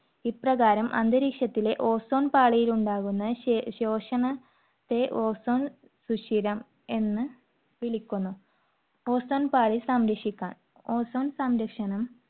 ഇപ്രകാരം അന്തരീക്ഷത്തിലെ ozone പാളിയിൽ ഉണ്ടാകുന്ന ശേഷണ~ ശോഷണത്തെ ozone സുഷിരമെന്ന് വിളിക്കുന്നു. ozone പാളി സംരക്ഷിക്കാൻ, ozone സംരക്ഷണം